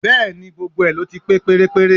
Bẹ́ẹ̀ni, gbogbo ẹ̀ ló ti pé pérépéré